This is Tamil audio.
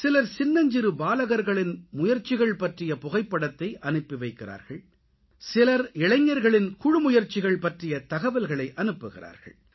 சிலர் சின்னஞ்சிறு பாலகர்களின் முயற்சிகள் பற்றிய புகைப்படத்தை அனுப்பி வைக்கிறார்கள் சிலர் இளைஞர்களின் குழு முயற்சிகள் பற்றிய தகவல்களை அனுப்புகிறார்கள்